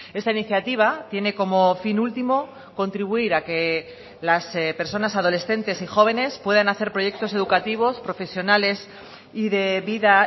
esta iniciativa tiene como fin último contribuir a que las personas adolescentes y jóvenes puedan hacer proyectos educativos profesionales y de vida